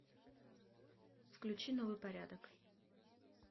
включи новый порядок